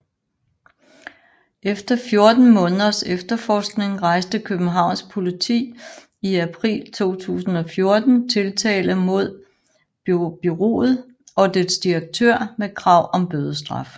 Efter 14 måneders efterforskning rejste Københavns Politi i april 2014 tiltale mod bureauet og dets direktør med krav om bødestraf